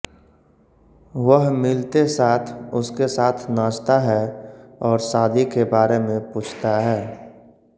वह मिलते साथ उसके साथ नाचता है और शादी के बारे में पूछता है